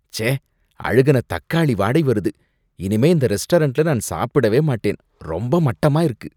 ச்சே! அழுகுன தக்காளி வாடை வருது. இனிமே இந்த ரெஸ்டாரண்ட்ல நான் சாப்பிடவே மாட்டேன். ரொம்ப மட்டமா இருக்கு!